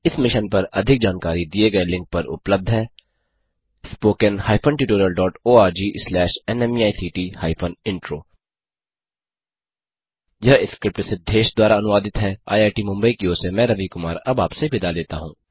इस मिशन पर अधिक जानकारी दिए गए लिंक पर उपलब्ध है httpspoken tutorialorgNMEICT Intro यह स्क्रिप्ट सिद्धेश द्वारा अनुवादित है आईआईटी मुंबई की ओर से मैं रवि कुमार अब आपसे विदा लेता हूँ